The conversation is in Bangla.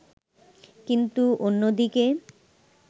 কিন্তু অন্যদিকে